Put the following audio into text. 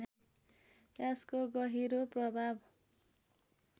यसको गहिरो प्रभाव